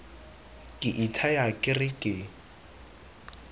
ke ithaya ke re ke